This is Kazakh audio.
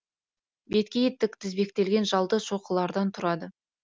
беткейі тік тізбектелген жалды шоқылардан тұрады